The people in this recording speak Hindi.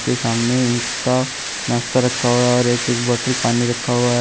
के सामने उनका नाश्ता रखा हुआ है और एक एक बॉटल पानी रखा हुआ है।